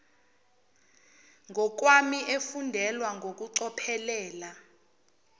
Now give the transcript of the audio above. ngokwami efundelwa ngokucophelela